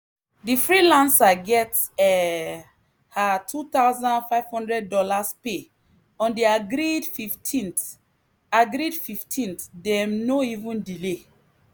the freelancer get um her $2500 pay on the agreed fifteenth agreed 15th dem no even delay.